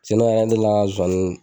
ne la zowani